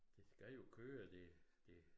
Det skal jo køre det det